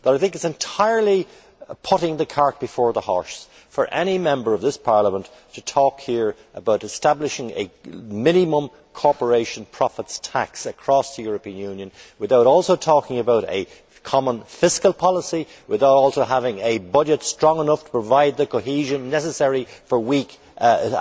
I think it is entirely putting the cart before the horse for any Member of this Parliament to talk here about establishing a minimum corporation profits tax across the European Union without also talking about a common fiscal policy, without also having a budget strong enough to provide the cohesion necessary for weak and